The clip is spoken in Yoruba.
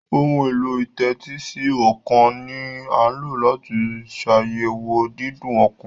Ohun èlò ìtẹ́tísí ọkàn ní a lọ láti ṣ'ayẹwo Dídún ọkàn.